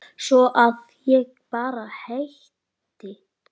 Svo að ég bara hætti.